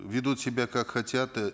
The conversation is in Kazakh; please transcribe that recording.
ведут себя как хотят э